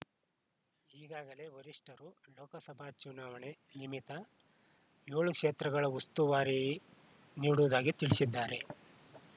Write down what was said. ಈಗಾಗಲೇ ವರಿಷ್ಠರು ಲೋಕಸಭಾ ಚುನಾವಣೆ ನಿಮಿತ್ತ ಏಳು ಕ್ಷೇತ್ರಗಳ ಉಸ್ತುವಾರಿ ನೀಡುವುದಾಗಿ ತಿಳಿಸಿದ್ದಾರೆ